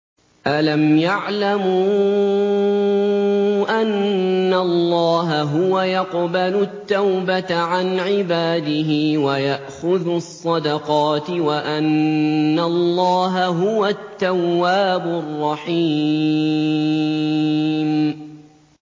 أَلَمْ يَعْلَمُوا أَنَّ اللَّهَ هُوَ يَقْبَلُ التَّوْبَةَ عَنْ عِبَادِهِ وَيَأْخُذُ الصَّدَقَاتِ وَأَنَّ اللَّهَ هُوَ التَّوَّابُ الرَّحِيمُ